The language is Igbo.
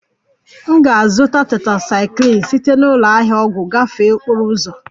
M ga-azụta tetrasaikilin site na ụlọ ahịa ọgwụ gafee okporo ụzọ